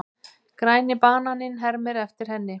Græni bananinn hermir eftir henni.